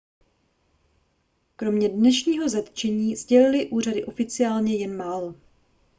kromě dnešního zatčení sdělily úřady oficiálně jen málo